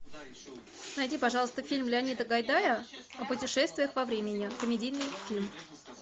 найди пожалуйста фильм леонида гайдая о путешествиях во времени комедийный фильм